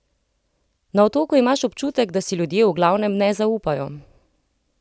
Na Otoku imaš občutek, da si ljudje v glavnem ne zaupajo.